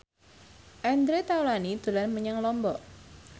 Andre Taulany dolan menyang Lombok